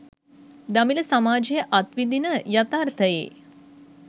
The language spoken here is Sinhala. දමිළ සමාජය අත් විදින යථාර්තයේ